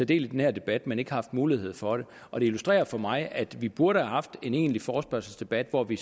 del i den her debat men ikke haft mulighed for det og det illustrerer for mig at vi burde have haft en egentlig forespørgselsdebat hvor vi